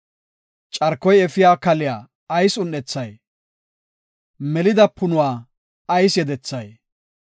Carkoy efiya kaliya ayis un7ethay? melida punuwa ayis yedethay?